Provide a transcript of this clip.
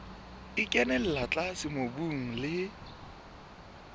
e kenella tlase mobung le